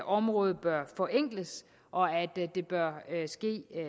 området bør forenkles og at det bør ske